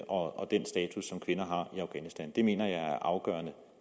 og den status som kvinder har i afghanistan det mener jeg er afgørende